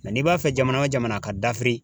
n'i b'a fɛ jamana o jamana ka dafiri.